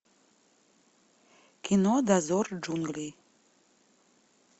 кино дозор джунглей